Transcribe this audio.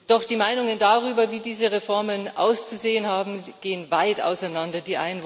Doch die Meinungen darüber, wie diese Reformen auszusehen haben, gehen weit auseinander.